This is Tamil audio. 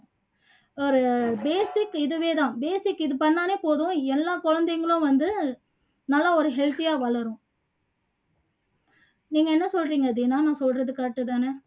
ஒரு basic இதுவே தான் basic இது பண்ணாலே போதும் எல்லா குழந்தைங்களும் வந்து நல்லா ஒரு healthy ஆ வளரும் நீங்க என்ன சொல்றீங்க தீனா நான் சொல்றது correct தானே